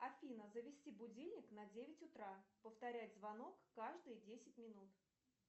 афина завести будильник на девять утра повторять звонок каждые десять минут